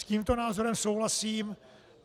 S tímto názorem souhlasím.